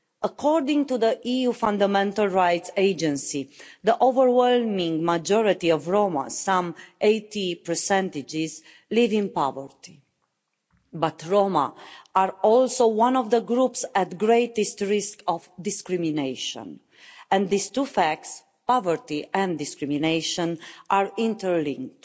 According to the EU Fundamental Rights Agency, the overwhelming majority of Roma, some 80, live in poverty, but Roma are also one of the groups at greatest risk of discrimination, and these two facts poverty and discrimination are interlinked.